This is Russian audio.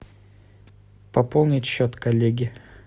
пополнить счет коллеги